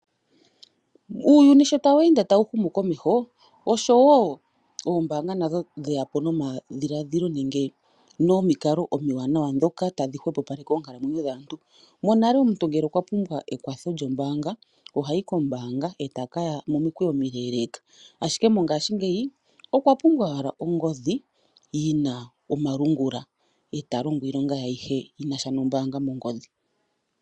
Uuyuni sho tawu ende tawu humu komeho, oshowo oombaanga nadho dhe ya po nomadhiladhilo nenge nomikalo omiwanawa ndhoka tadhi hwepopaleke oonkalamwenyo dhaantu. Monale omuntu ngele okwa pumbwa ekwatho lyombaanga ohayi kombaanga e taka ya momikweyo omileeleeka, ashike ngaashingeyi okwa pumbwa owala ongodhi yi na omalungula e ta longo iilonga ye ayihe yi na sha nombaanga mongodhi.